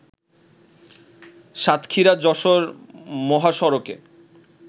সাতক্ষীরা-যশোর মহাসড়কের